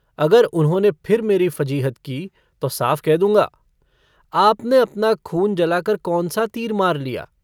अगर उन्होंने फिर मेरी फ़जीहत की तो साफ कह दूंँगा - आपने अपना खून जलाकर कौन सा तीर मार लिया।